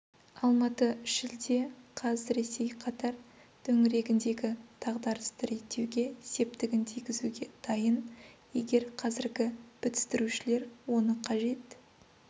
алматы шілде қаз ресей қатар төңірегіндегі дағдарысты реттеуге септігін тигізуге дайын егер қазіргі бітістірушілер оны қажет